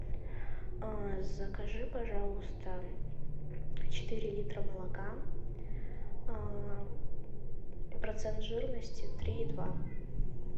закажи пожалуйста четыре литра молока процент жирности три и два